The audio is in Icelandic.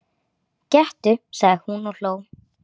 Gettu sagði hún og hló.